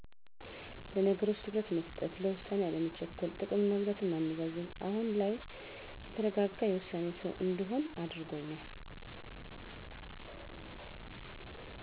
ለነገሮች ትኩረት መስጠት፣ ለውሳኔ አለመቸኮል፣ ጥቅምና ጉዳት ማመዛዘን። አሁን ላይ የተረጋጋ የውሳኔ ሰው እንድሆን አድርጎኛል።